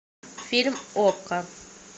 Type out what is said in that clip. фильм окко